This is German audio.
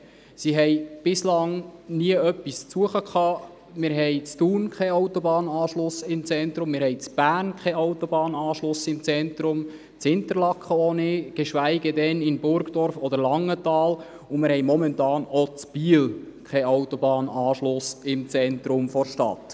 Sie hatten bislang dort nichts zu suchen, wir haben weder in Thun noch in Bern im Zentrum einen Autobahnanschluss, auch nicht in Interlaken, geschweige denn in Burgdorf oder Langenthal, und wir haben im Moment auch in Biel keinen Autobahnanschluss im Zentrum der Stadt.